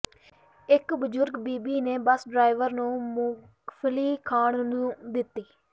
ਇੱਕ ਬੁਜੁਰਗ ਤੀਵੀਂ ਨੇ ਬਸ ਡਰਾਇਵਰ ਨੂੰ ਮੂੰਗਫਲੀ ਖਾਣ ਨੂੰ ਦਿੱਤੀ